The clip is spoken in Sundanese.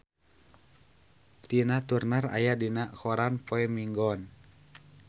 Tina Turner aya dina koran poe Minggon